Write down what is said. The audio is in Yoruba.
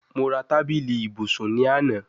Mo ra tabili ibusun ni ana